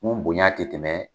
Mun bonya tɛ tɛmɛ